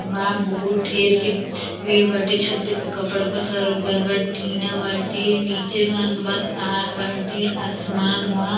बा बहुत ढेर के पेड़ बाटे। छते प कपड़ा पसार गइल बा। टीना बाटे। नीचे बा तार बाटे आसमान बा।